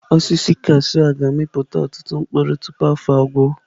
Osisi kashụụ a ga-amịpụta ọtụtụ mkpụrụ tupu afọ agwụ.